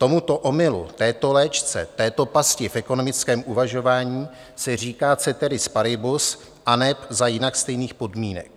Tomuto omylu, této léčce, této pasti v ekonomickém uvažování se říká ceteris paribus aneb za jinak stejných podmínek.